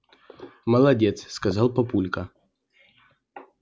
молодец сказал папулька